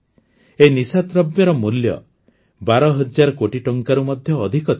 ଏହି ନିଶାଦ୍ରବ୍ୟର ମୂଲ୍ୟ ୧୨୦୦୦ କୋଟି ଟଙ୍କାରୁ ମଧ୍ୟ ଅଧିକ ଥିଲା